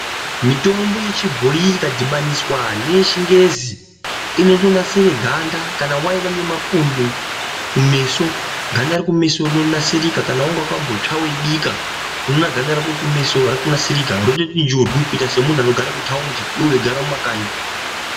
Mitombo yechibhoyi ikadhibaniswa ndeye chingezi inonasira ganda kana kwaiva nemakondo kumeso ganda redu rinonasirika kana wanga wakambotsva weibikanunoona ganda rako rekumeso rinoti njubu semuntu anenge eigara mumakanyi.